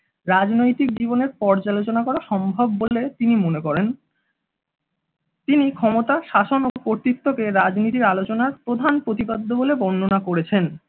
রাজনৈতিক জীবনের পর্যালোচনা করা সম্ভব বলে তিনি মনে করেন। তিনি ক্ষমতা শাসন ও কর্তৃত্ব কে রাজনীতির আলোচনায় প্রধান প্রতিপাদ্য বলে বর্ণনা করেছেন